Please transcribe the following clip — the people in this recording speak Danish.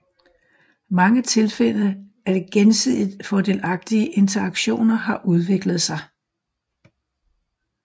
Mange tilfælde af gensidigt fordelagtige interaktioner har udviklet sig